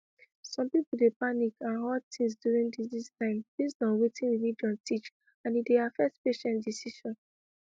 some people dey panic and hoard things during disease time based on wetin religion teach and e dey affect patient decision